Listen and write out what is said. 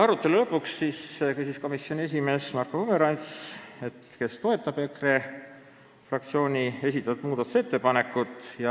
Arutelu lõpus küsis komisjoni esimees Marko Pomerants, kes toetab EKRE fraktsiooni esitatud muudatusettepanekut.